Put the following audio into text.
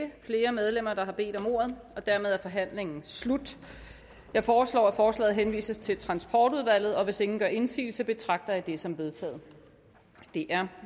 ikke flere medlemmer der har bedt om ordet og dermed er forhandlingen slut jeg foreslår at forslaget henvises til transportudvalget hvis ingen gør indsigelse betragter jeg det som vedtaget det er